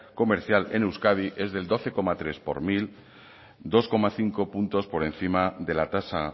comercial en euskadi es del doce coma tres por ciento dos coma cinco puntos por encima de la tasa